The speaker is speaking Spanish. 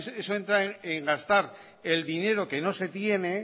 eso entra en gastar